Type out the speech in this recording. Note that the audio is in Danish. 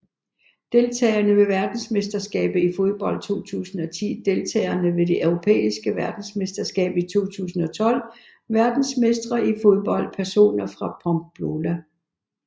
Deltagere ved verdensmesterskabet i fodbold 2010 Deltagere ved det europæiske mesterskab i fodbold 2012 Verdensmestre i fodbold Personer fra Pamplona